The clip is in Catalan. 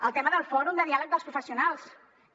el tema del fòrum de diàleg professional també